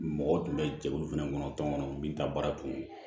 Mɔgɔw tun bɛ jɛkulu fɛnɛ kɔnɔ tɔn kɔnɔ min ta baara kun